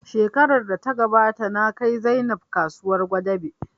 Shekarar da ya gabata na kai Zainab kasuwar Gwadabe